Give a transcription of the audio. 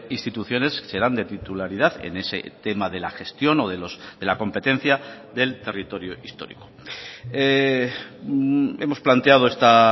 instituciones serán de titularidad en ese tema de la gestión o de la competencia del territorio histórico hemos planteado esta